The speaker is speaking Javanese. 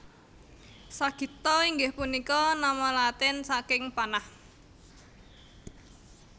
Sagitta inggih punika nama Latin saking panah